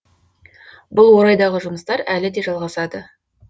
бұл орайдағы жұмыстар әлі де жалғасады